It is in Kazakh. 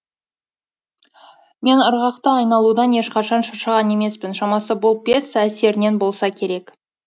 мен ырғақты айналудан ешқашан шаршаған емеспін шамасы бұл пьеса әсерінен болса керек